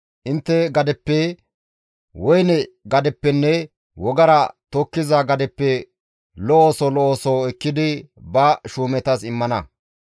Intte gadeppe, woyne gadeppenne wogara tokkiza gadeppe lo7oso lo7oso ekkidi ba shuumetas immana.